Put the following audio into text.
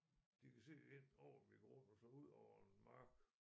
De kan se ind over min grund og så udover en mark